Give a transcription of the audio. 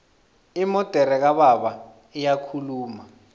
imodere kababa iyakhuluma